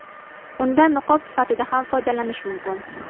Undan niqob sifatida ham foydalanish mumkin.